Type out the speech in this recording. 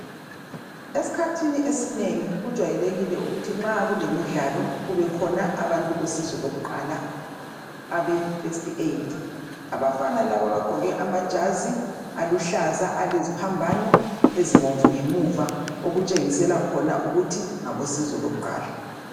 Esikhathini esinengi kujwayelekile ukuthi nxa kulemidlalo kube khona abantu bosizo lakuqala abe first aid, abafana laba abgqoke amajazi aluhlaza aleziphambano ezibomvu ngemuva okutshengisela khona ukuthi ngabosizo lokuqala.